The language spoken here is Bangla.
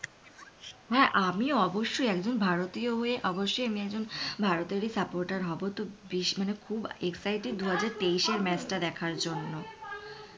হ্যাঁ আমি অবশ্যই একজন ভারতীয় হয়ে অবশ্যই আমি একজন ভারতের supporter হবো তো মানে খুব excited দুহাজার তেইশে match টা দেখার জন্য।